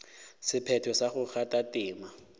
sephetho sa go kgatha tema